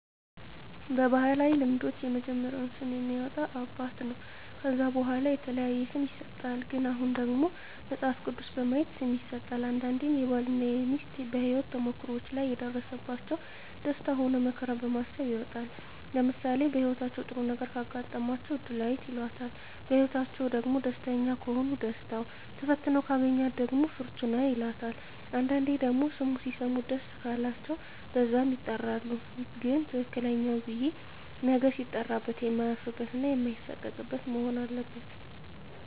በባህላዊ ልምዶች የመጀመሪያውን ስም የሚያወጣ አባት ነው ከዛ በዋላ የተለያየ ስም ይሰጥሃል ግን አሁን ደግሞ መጸሀፍ ቅዱስ በማየት ስም ይሠጣል አንዳንዴም ባል እና ሜስት በሄወት ተሞክሮዎች ላይ የደረሰባቸው ደስታ ሆነ መከራ በማሰብ ይወጣል ለምሳሌ በህይወታቸው ጥሩ ነገረ ካጋጠማቸው እድላዌት ይላታል በህይወትአቸዉ ደግሞ ደስተኛ ከሆኑ ደስታው ተፈትነው ካገኛት ደግሞ ፍርቱና ይላታል አንዳንዴ ደግሞ ስሙ ሲሰሙት ደስ ቃላቸው በዛም ይጠራሉ ግን ትክክለኛው ብየ ነገ ሲጠራበት የማያፍርበት እና ማይሳቀቅበት መሆን አለበት